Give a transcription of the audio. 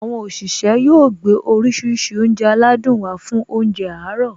Àwọn òṣìṣẹ́ yóò gbé oríṣiríṣi oúnjẹ aládùn wá fún óúnjẹ àárọ̀